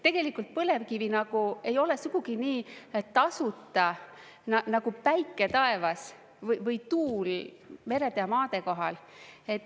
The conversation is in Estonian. Tegelikult põlevkivi nagu ei ole sugugi nii, et tasuta nagu päike taevas või tuul merede ja maade kohal.